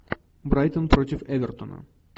брайтон против эвертона